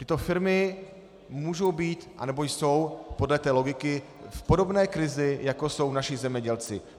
Tyto firmy můžou být, anebo jsou podle té logiky v podobné krizi, jako jsou naši zemědělci.